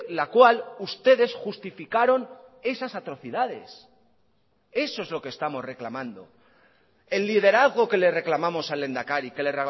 la cual ustedes justificaron esas atrocidades eso es lo que estamos reclamando el liderazgo que le reclamamos al lehendakari que le